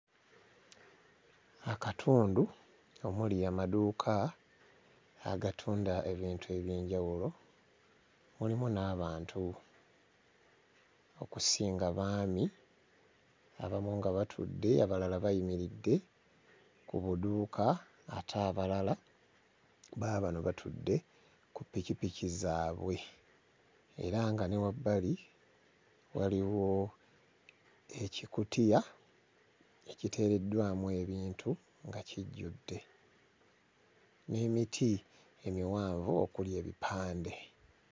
Akatundu omuli amaduuka agatunda ebintu eby'enjawulo wamu n'abantu okusinga baami, abamu nga batudde abalala bayimiridde ku maduuka ate abalala baabano batudde ku ppikipiki zaabwe era nga ne wabbali waliwo ekikutiya ekiteereddwamu ebintu nga kijjudde n'emiti emiwanvu okuli ebipande.